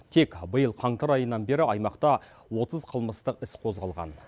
тек биыл қаңтар айынан бері аймақта отыз қылмыстық іс қозғалған